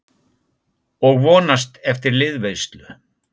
Og vonast eftir liðveislu.